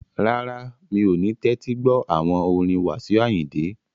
Rárá, mi ò ní tẹ́tí gbọ́ àwọn orin Wasiu Ayinde